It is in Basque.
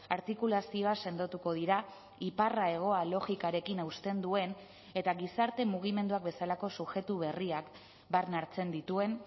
artikulazioa sendotuko dira iparra hegoa logikarekin hausten duen eta gizarte mugimenduak bezalako subjektu berriak barne hartzen dituen